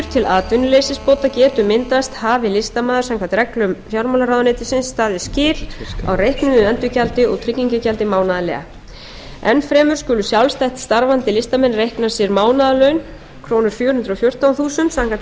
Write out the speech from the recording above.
til atvinnuleysisbóta getur myndast hafi listamaður samkvæmt reglum fjármálaráðuneytisins staðið skil á reiknuðu endurgjaldi og tryggingargjaldi mánaðarlega enn fremur skulu sjálfstætt starfandi listamenn reikna sér mánaðarlaun krónu fjögur hundruð og fjórtán þúsund samkvæmt